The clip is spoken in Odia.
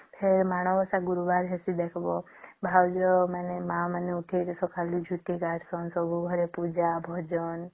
ହେ ମାଣ ବସା ଗୁରୁବାର ହେଇଥିବା ଦେଖିବା ଭାଦ୍ରବ ମାସେ ମା ମାନେ ଉଠିକି ସବୁ ଝୁଂଟି କାଜ କରିକି ସବୁ ଘରେ ପୂଜା ଭଜନ